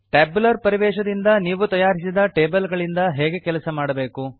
tabular ಪರಿವೇಶದಿಂದ ನಾವು ತಯಾರಿಸಿದ ಟೇಬಲ್ ಗಳಿಂದ ಹೇಗೆ ಕೆಲಸ ಮಾಡಬೇಕು